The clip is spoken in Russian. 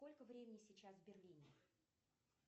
сколько времени сейчас в берлине